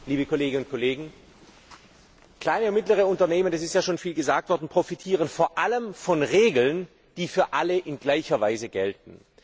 Herr Präsident, liebe Kolleginnen und Kollegen! Kleine und mittlere Unternehmen das ist ja schon vielfach gesagt worden profitieren vor allem von Regeln, die für alle in gleicher Weise gelten.